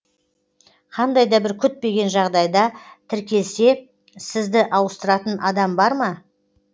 қандай да бір күтпеген жағдайда тіркелсе сізді ауыстыратын адам бар ма